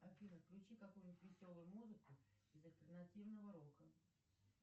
афина включи какую нибудь веселую музыку из альтернативного рока